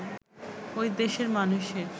ঐ দেশের মানুষের